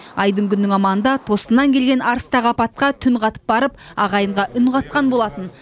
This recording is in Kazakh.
айдың күннің аманында тосыннан келген арыстағы апатқа түнқатып барып ағайынға үн қатқан болатын